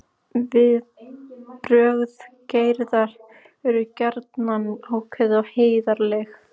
Viðbrögð Gerðar eru gjarnan ákveðin og heiðarleg.